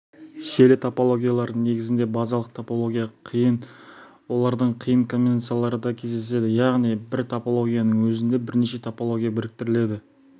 желі топологиялары негізінде базалық топология қиын олардың қиын комбинациялары да кездеседі яғни бір топологияның өзінде бірнеше топология біріктіріледі